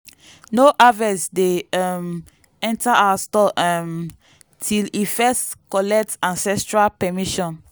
no harvest dey um enter our store um till e first collect ancestral permission.